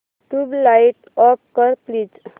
tubelight off कर please